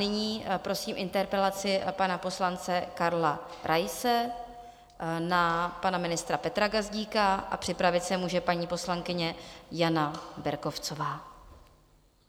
Nyní prosím interpelaci pana poslance Karla Raise na pana ministra Petra Gazdíka a připravit se může paní poslankyně Jana Berkovcová.